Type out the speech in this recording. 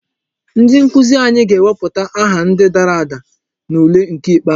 Ndi nkuzi anyị ga-ewepụta aha ndi dara ada n'ule nke ikpeazụ.